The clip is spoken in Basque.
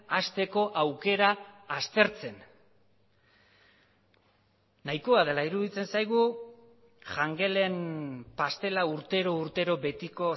hasteko aukera aztertzen nahikoa dela iruditzen zaigu jangelen pastela urtero urtero betiko